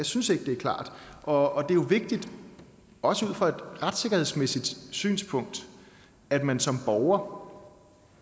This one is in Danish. synes ikke det er klart og det er jo vigtigt også ud fra et retssikkerhedsmæssigt synspunkt at man som borger